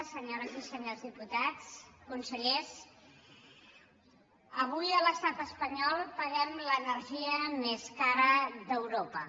senyores i senyors dipu·tats consellers avui a l’estat espanyol paguem l’ener·gia més cara d’europa